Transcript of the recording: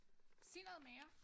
Sig noget mere